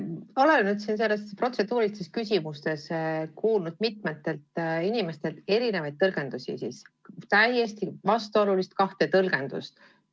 Ma olen nüüd siin protseduurilistes küsimustes kuulnud mitmetelt inimestelt erinevaid tõlgendusi, täiesti vastuolulist kahte tõlgendust.